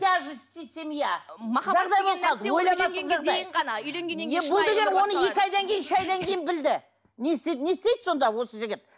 семья оны екі айдан кейін үш айдан кейін білді не істейді не істейді сонда осы жігіт